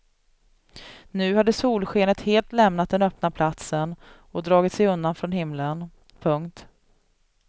Nu hade solskenet helt lämnat den öppna platsen och dragit sig undan från himmelen. punkt